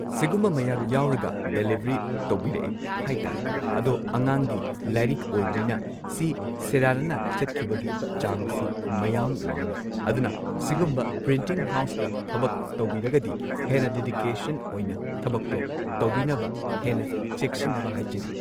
ꯁꯤꯒꯨꯝꯕ ꯃꯌꯥꯝ ꯌꯥꯎꯔꯒ ꯗꯦꯂꯤꯚꯔꯤ ꯇꯧꯕꯤꯔꯛꯑꯦ ꯍꯥꯏꯇꯥꯔꯦ ꯑꯗꯣ ꯑꯉꯥꯡꯒꯤ ꯂꯥꯏꯔꯤꯛ ꯑꯣꯏꯕꯅꯤꯅ ꯁꯤ ꯁꯦꯔꯥꯟꯅꯅ ꯆꯠꯈꯤꯕꯒꯤ ꯆꯥꯡꯁꯨ ꯃꯌꯥꯝ ꯋꯥꯡꯢ ꯑꯗꯨꯅ ꯁꯤꯒꯨꯝꯕ ꯄ꯭ꯔꯤꯟꯇꯤꯡ ꯍꯥꯎꯁꯇ ꯊꯕꯛ ꯇꯧꯕꯤꯔꯒꯗꯤ ꯍꯦꯟꯅ ꯗꯦꯗꯤꯀꯦꯁꯟ ꯑꯣꯏꯅ ꯊꯕꯛꯇꯣ ꯇꯧꯕꯤꯅꯕ ꯍꯦꯟꯅ ꯆꯦꯛꯁꯤꯟꯅꯕ ꯍꯥꯏꯖꯔꯤ꯫